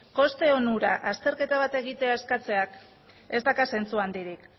koste onurak azterketa bat egitea eskatzeak ez dauka zentzu handirik